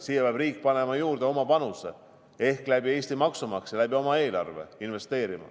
Siia peab riik andma oma panuse ehk investeerima Eesti maksumaksja ja oma eelarve kaudu.